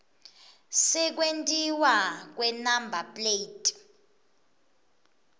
sekwentiwa kwenumber plate